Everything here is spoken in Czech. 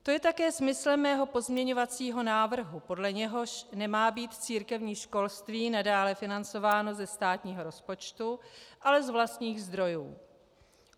To je také smyslem mého pozměňovacího návrhu, podle něhož nemá být církevní školství nadále financováno ze státního rozpočtu, ale z vlastních zdrojů.